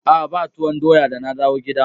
A'a ba tuwon doya da na dawo gida.